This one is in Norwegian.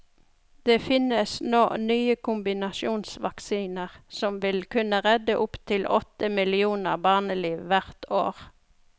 Det finnes nå nye kombinasjonsvaksiner som vil kunne redde opptil åtte millioner barneliv hvert år.